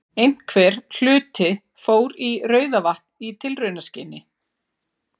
Einhver hluti fór í Rauðavatn í tilraunaskyni.